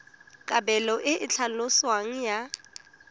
kabelo e e tlhaloswang ya